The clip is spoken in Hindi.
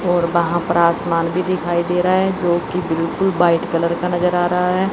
और वहां पर आसमान भी दिखाई दे रहा है जो की बिल्कुल व्हाइट कलर का नजर आ रहा है।